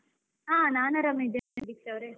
ಆ ನಾನ್ ಆರಾಮಿದ್ದೇನೆ ದೀಕ್ಷಾ ಅವ್ರೆ.